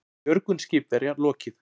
Björgun skipverja lokið